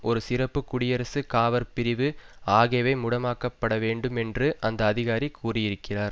ஒரு சிறப்பு குடியரசு காவற் பிரிவு ஆகியவை முடமாக்கப்பட வேண்டும் என்று அந்த அதிகாரி கூறியிருக்கிறார்